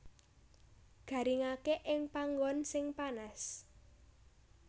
Garingaké ing panggon sing panas